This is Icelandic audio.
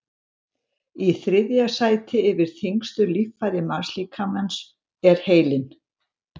í þriðja sæti yfir þyngstu líffæri mannslíkamans er heilinn